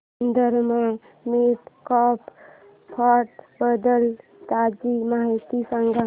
Sundaram mid cap fund बद्दल ताजी माहिती सांग